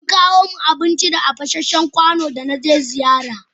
An kawo min abinci a fasanshen kwano da na je ziyara.